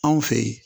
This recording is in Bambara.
Anw fɛ yen